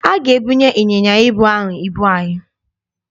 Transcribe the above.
A ga-ebunye ịnyịnya ibu ahụ ibu anyị niile.